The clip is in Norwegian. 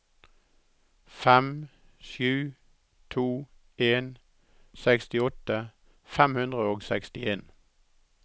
fem sju to en sekstiåtte fem hundre og sekstien